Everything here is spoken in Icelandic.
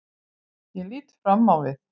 Ég lít fram á við.